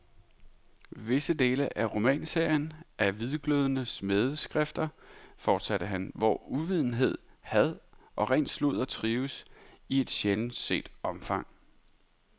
Visse dele af romanserien er hvidglødende smædeskrifter, fortsatte han, hvor uvidenhed, had og ren sludder trives i et sjældent set omfang.